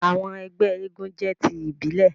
àwọn ẹgbẹ éégún jẹ ti ibile.